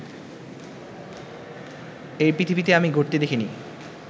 এই পৃথিবীতে আমি ঘটতে দেখিনি